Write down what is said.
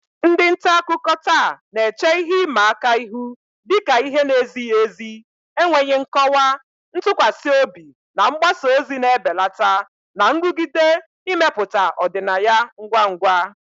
Ndị nta akụkọ taa na-eche ihe ịma aka ihu dị ka ihe na-ezighi ezi, enweghị nkọwa, ntụkwasị obi na mgbasa ozi na-ebelata, na nrụgide imepụta ọdịnaya ngwa ngwa.